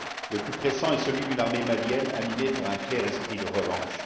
Le plus pressant est celui d'une armée malienne animée par un clair esprit de revanche.